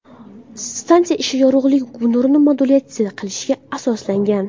Stansiya ishi yorug‘lik nurini modulyatsiya qilishga asoslangan.